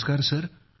नमस्कार सर